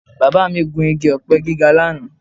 Bàbá mi gùn igi ọ̀pẹ gíga lánàá